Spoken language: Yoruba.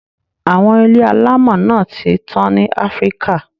A`wọn ilé alámọ̀ náà ti tán ní Africa